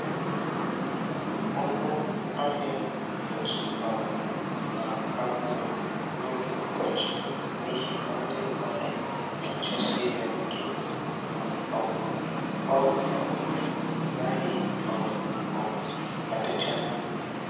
Ọnụ ahịa otuboala na-aka mma n'oge ọkọchị n'ihi na ndị mmadụ na-achọsi ya ike ma um ọ um naghị um um adịchama